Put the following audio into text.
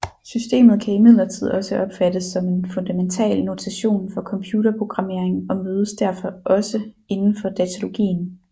Systemet kan imidlertid også opfattes som en fundamental notation for computer programmering og mødes derfor også indenfor datalogien